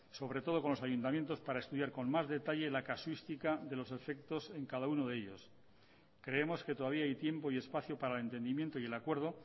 sobre todo con los ayuntamientos para estudiar con más detalle la casuística de los efectos en cada uno de ellos creemos que todavía hay tiempo y espacio para el entendimiento y el acuerdo